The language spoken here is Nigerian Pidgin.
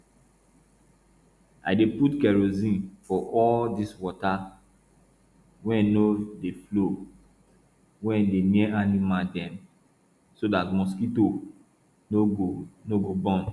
i dey put kerosene for all dis water wey no dey flow wey dey near animal dem so dat mosquito no go no go born